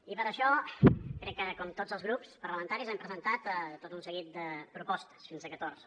i per això crec que com tots els grups parlamentaris hem presentat tot un seguit de propostes fins a catorze